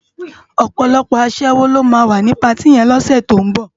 Òpòlòpò aṣèwó ló má wá ni páti yèn lòsè tó n bò